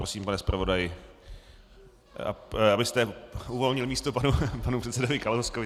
Prosím, pane zpravodaji, abyste uvolnil místo panu předsedovi Kalouskovi.